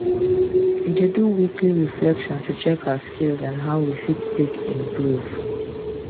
we dey do weekly reflection to check our skills and how we fit take improve